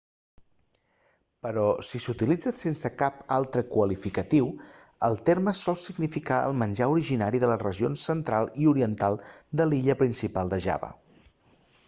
però si s'utilitza sense cap altre qualificatiu el terme sol significar el menjar originari de les regions central i oriental de l'illa principal de java